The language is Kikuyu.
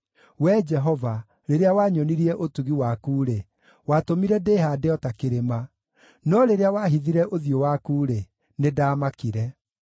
Wee Jehova, rĩrĩa wanyonirie ũtugi waku-rĩ, watũmire ndĩhaande o ta kĩrĩma; no rĩrĩa wahithire ũthiũ waku-rĩ, nĩndamakire.